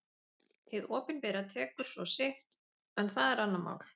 Hið opinbera tekur svo sitt en það er annað mál.